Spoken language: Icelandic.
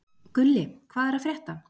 Gulli, hvað er að frétta?